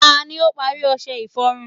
ta ni o pari ọṣẹ iforun